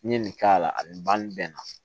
N'i ye nin k'a la a bɛ ban nin bɛɛ na